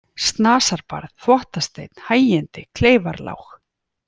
Snasarbarð, Þvottasteinn, Hægindi, Kleifarlág